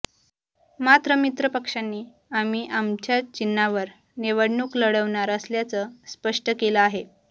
मात्र मित्रपक्षांनी आम्ही आमच्याच चिन्हावर निवडणूक लढवणार असल्याचं स्पष्ट केलं आहे